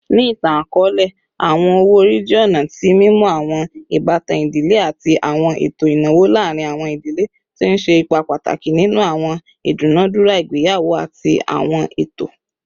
Ni itan-akọọlẹ, awọn owo-ori jẹ ọna ti mimu awọn ibatan idile ati awọn eto inawo laarin awọn idile, ti n ṣe ipa pataki ninu awọn idunadura igbeyawo ati awọn eto.